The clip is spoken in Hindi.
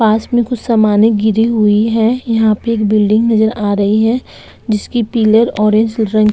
पास में कुछ समाने गिरी हुई हैं यहाँ पे एक बिल्डिंग नजर आ रही है जिसकी पिलर ऑरेंज रंग --